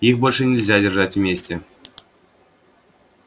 их больше нельзя держать вместе